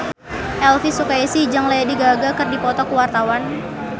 Elvi Sukaesih jeung Lady Gaga keur dipoto ku wartawan